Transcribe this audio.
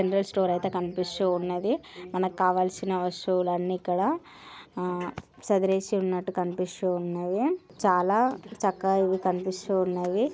Play store కనిపిస్తున్నది మనకి కావాల్సిన వస్తువులన్నీ ఇక్కడ చెదిరేసి ఉన్నటు కనిపిస్తున్నాయి. చాల చక్కగా ఇక్కడ కనిపిస్తున్నాయి.